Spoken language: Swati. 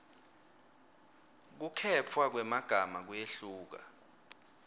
kukhetfwa kwemagama kuyehluka